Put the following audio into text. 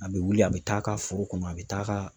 A bɛ wuli a bɛ t'a ka foro kɔnɔ a bɛ taa ka.